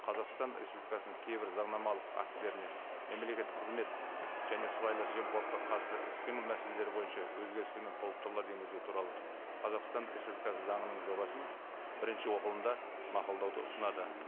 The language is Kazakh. қазақстан республикасының кейбір заңнамалық актілеріне мемлекеттік қызмет және сыбайлас жемқорлыққа қарсы іс қимыл мәселелері бойынша өзгерістер мен толықтырулар енгізу туралы қазақстан республикасы заңының жобасын бірінші оқылымда мақұлдауды ұсынады